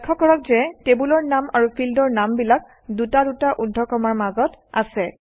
লক্ষ্য কৰক যে টেবুলৰ নাম আৰু ফিল্ডৰ নামবিলাক দুটা দুটা ঊৰ্ধ্বকমাৰ মাজত আছে